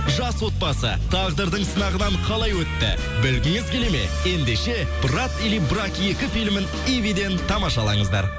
жас отбасы тағдырдың сынағынан қалай өтті білгіңіз келеді ме ендеше брат или брак екі филімін ивиден тамашалаңыздар